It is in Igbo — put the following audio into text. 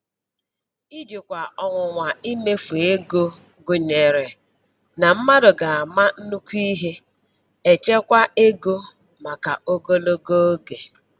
Ijikwa ọnwụnwa imefu ego gụnyere na mmadụ ga ama nnukwu ihe echekwa ego maka ogologo oge